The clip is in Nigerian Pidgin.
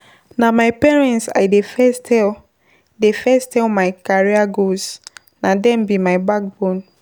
Na my parents I dey first tell dey first tell my career goals na dem be my backbone.